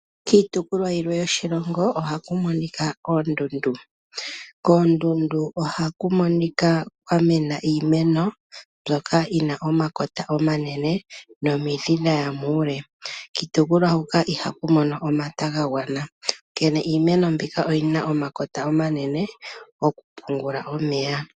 Miitopolwa yimwe yoshilongo ohaku monika oondundu. Koondundu ohaku monika kwa mena iimeno mbyoka yina omakota omanene nomidhi dhaya muule. Kiitopolwa huka ohaku mono omata gagwana onkene iimeno mboka oyina omakota omanene gokupungula omeya.